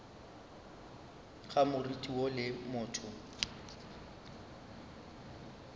ga moriti woo le motho